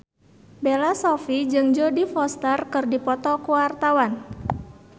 Bella Shofie jeung Jodie Foster keur dipoto ku wartawan